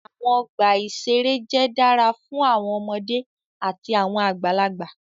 Awọn ọgba iṣere jẹ dara fun awọn ọmọde ati awọn agbalagba